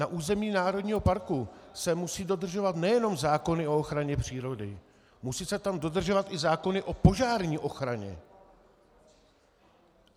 Na území národního parku se musí dodržovat nejenom zákony o ochraně přírody, musí se tam dodržovat i zákony o požární ochraně.